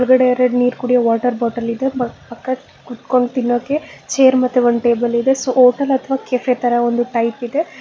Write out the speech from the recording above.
ಗಡೆ ಎರಡ ನೀರ ಕುಡಿಯೋ ವಾಟರ್ ಬಾಟಲ ಇದೆ ಬ ಪಕ್ಕಕ ಕೂತಕೊಂಡ ತಿನ್ನೋಕೆ ಚೇರ್ ಮತ್ತೆ ಒಂದ ಟೇಬಲ ಇದೆ ಸೊ ಹೋಟೆಲ್ ಅಥವಾ ಕೆಪೆ ತರ ಒಂದು ಟೈಟ್ ಇದೆ.